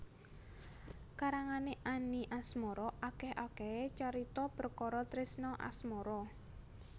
Karangane Any Asmara akeh akehe carita perkara tresna asmara